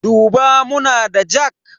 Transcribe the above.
Duba muna da jak?